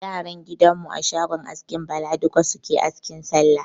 Yaran gidan mu a shogon askin Bala duka suke asking Sallah.